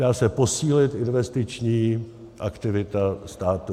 Dá se posílit investiční aktivita státu.